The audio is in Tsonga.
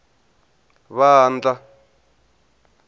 vandla